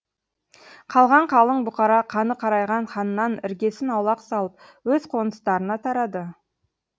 қалған қалың бұқара қаны қарайған ханнан іргесін аулақ салып өз қоныстарына тарады